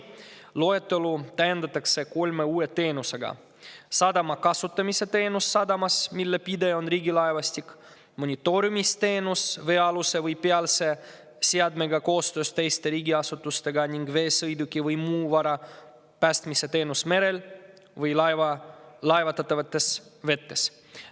Loetelu täiendatakse kolme uue teenusega: sadama kasutamise teenus sadamas, mille pidaja on Riigilaevastik, monitoorimisteenus veealuse või ‑pealse seadmega koostöös teiste riigiasutustega ning veesõiduki või muu vara päästmise teenus merel või laevatatavates vetes.